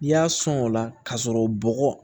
N'i y'a sɔn o la k'a sɔrɔ bɔgɔ